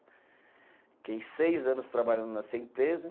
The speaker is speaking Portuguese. Fiquei seis anos trabalhando nessa empresa.